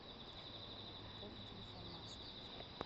пополни телефон маши